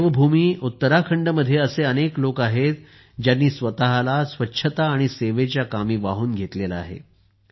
देवभूमी उत्तराखंडमध्ये असे अनेक लोक आहेत ज्यांनी स्वतला स्वच्छता आणि सेवेच्या कामी वाहून घेतलेले आहे